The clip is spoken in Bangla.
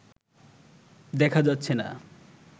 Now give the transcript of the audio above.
দেখা যাচ্ছেনা